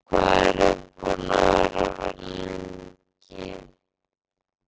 Linda: Hvað eruð þið búnir að vera lengi?